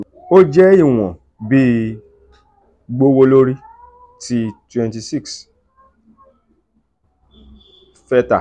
ó jẹ́ ìwọ̀n bi “gbówó lórí” ti twenty six fetta